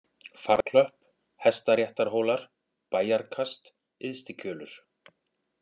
Farklöpp, Hestaréttarhólar, Bæjarkast, Yðstikjölur